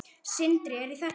Sindri: En í þetta skipti?